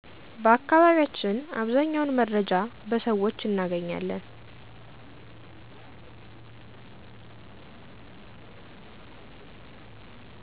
በአከባቢያቸን አብዛኛውን መረጃ በሰውች እነገኛለን